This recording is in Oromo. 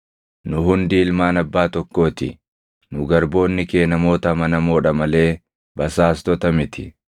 Nu hundi ilmaan abbaa tokkoo ti; nu garboonni kee namoota amanamoo dha malee basaastota miti.”